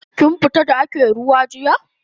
Kin fita da ake ruwa jiya?